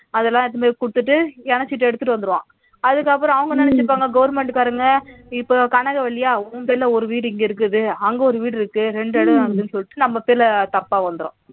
அதெல்லாம் எடுத்துட்டு போய் கொடுத்துட்டு இணச்சுட்டு எடுத்துட்டு வந்துருவோம் அதுக்கப்புறம் அவங்க நினைச்சுப்பாங்க government காரங்க இப்ப கனகவள்ளியா உன் பேர்ல ஒரு வீடு இங்க இருக்குது அங்கு ஒரு வீடு இருக்கு ரெண்டு இடம் ஆகுதுன்னு சொல்லிட்டு நம்ம பேர்ல தப்பா வந்துரும்